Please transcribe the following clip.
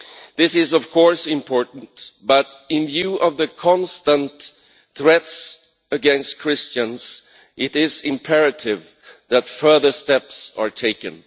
This is, of course, important, but in view of the constant threats against Christians, it is imperative that further steps are taken.